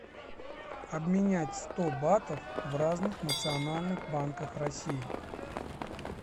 обменять сто батов в разных национальных банках россии